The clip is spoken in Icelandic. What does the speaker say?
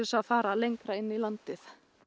að fara lengra inn í landið